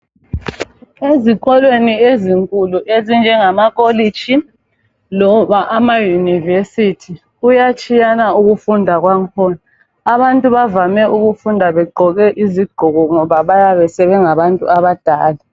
Ezikolweni ezinkulu ezinjengama kolitshi loba ama Yunivesithi kuyatshiyana ukufunda kwangikhona. Abantu bavame ukufunda begqoke izigqoko ngoba bayabe sebengabantu abadala.